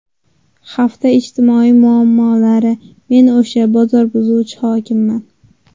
Hafta ijtimoiy muammolari: Men o‘sha bozor buzuvchi hokimman.